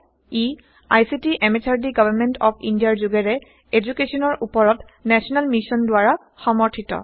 E ICT MHRD government of ইণ্ডিয়াৰ যোগেৰে এদুকেশ্যনৰ উপৰত নেশ্যনেল মিচন দ্বাৰা সমৰ্থিত